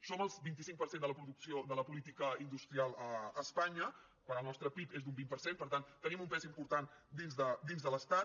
som el vint cinc per cent de la producció de la política industrial a espanya quan el nostre pib és d’un vint per cent per tant tenim un pes important dins de l’estat